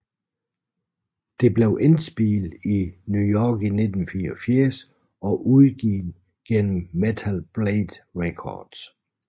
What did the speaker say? Det blev indspillet i New York i 1984 og udgivet gennem Metal Blade Records